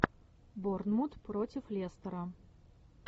борнмут против лестера